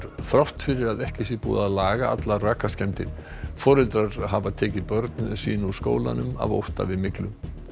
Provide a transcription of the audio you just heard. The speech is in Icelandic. þrátt fyrir að ekki sé búið að laga allar rakaskemmdir foreldrar hafi tekið börn sín úr skólanum af ótta við myglu